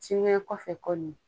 Sinikɛnɛ kɔfɛ kɔni